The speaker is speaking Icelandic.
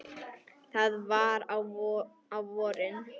Það var á vorin.